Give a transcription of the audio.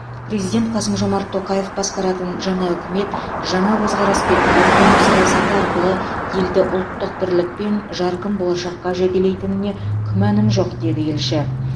президент қасым жомарт тоқаев басқаратын жаңа үкімет жаңа көзқарас пен өркендеу саясаты арқылы елді ұлттық бірлік пен жарқын болашаққа жетелейтініне күмәнім жоқ деді елші